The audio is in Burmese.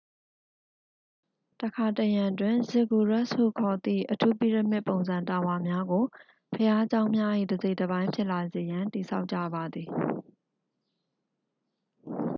တစ်ခါတစ်ရံတွင် ဇစ်ဂူရက်စ်ဟုခေါ်သည့် အထူးပိရမစ်ပုံစံ တာဝါများကို ဘုရားကျောင်းများ၏ တစ်စိတ်တစ်ပိုင်း ဖြစ်လာစေရန် တည်ဆောက်ကြပါသည်